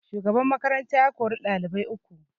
Shugaban makaranta ya kori dalibai uku